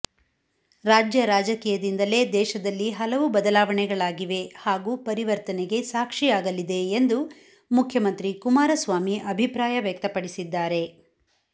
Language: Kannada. ರಾಜ್ಯ ರಾಜಕೀಯದಿಂದಲೇ ದೇಶದಲ್ಲಿ ಹಲವು ಬದಲಾವಣೆಗಳಾಗಿವೆ ಹಾಗೂ ಪರಿವರ್ತನೆಗೆ ಸಾಕ್ಷಿಯಾಗಲಿದೆ ಎಂದು ಮುಖ್ಯಮಂತ್ರಿ ಕುಮಾರಸ್ವಾಮಿ ಅಭಿಪ್ರಾಯ ವ್ಯಕ್ತಪಡಿಸಿದ್ದಾರೆ